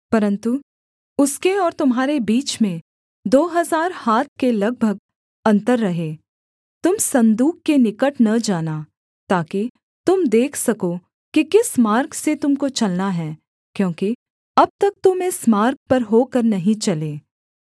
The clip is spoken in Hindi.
परन्तु उसके और तुम्हारे बीच में दो हजार हाथ के लगभग अन्तर रहे तुम सन्दूक के निकट न जाना ताकि तुम देख सको कि किस मार्ग से तुम को चलना है क्योंकि अब तक तुम इस मार्ग पर होकर नहीं चले